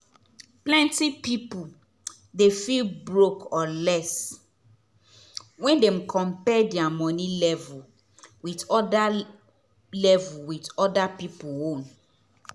plenty people dey feel broke or less when dem compare their money level with other level with other people own.